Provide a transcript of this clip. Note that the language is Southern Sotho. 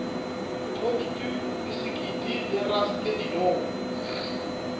toustu bisekiti le raske dinong